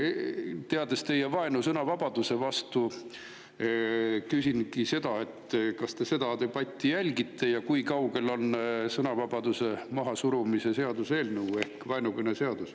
Teades teie vaenu sõnavabaduse vastu, küsingi, kas te seda debatti jälgite ja kui kaugel on sõnavabaduse mahasurumise seaduse eelnõu ehk vaenukõne seadus.